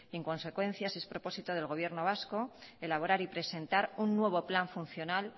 en consecuencia si es propósito del gobierno vasco elaborar y presentar un nuevo plan funcional